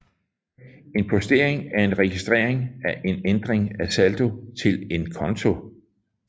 En postering er en registrering af en ændring af saldo til en konto